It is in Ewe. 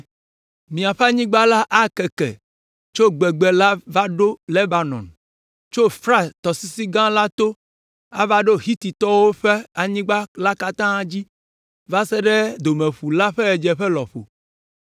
Miaƒe anyigba la akeke tso gbegbe la va ɖo Lebanon, tso Frat tɔsisi gã la to ava to Hititɔwo ƒe anyigba la katã dzi va se ɖe Domeƒu la ƒe ɣedzeƒe lɔƒo.